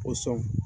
O sɔn